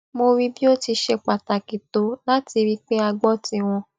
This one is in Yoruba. mo rí bí ó ti ṣe pàtàkì tó láti rí i pé a gbó tiwọn